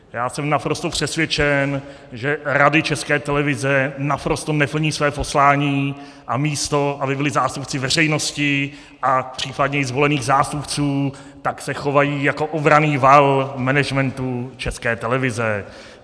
Já jsem naprosto přesvědčen, že Rady České televize naprosto neplní své poslání, a místo aby byly zástupci veřejnosti a případně i zvolených zástupců, tak se chovají jako obranný val managementu České televize.